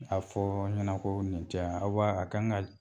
A fɔ ɲana ko nin tɛ wa? Aw b'a a kan ka